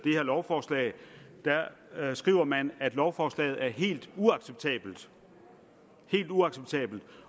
her lovforslag skriver man at lovforslaget er helt uacceptabelt helt uacceptabelt